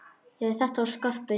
Já, þetta var Skarpi!